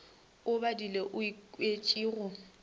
o badile o ikwetše go